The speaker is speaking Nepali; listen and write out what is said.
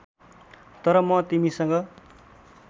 तर म तिमीसँग